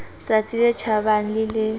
tsatsi le tjhabang le le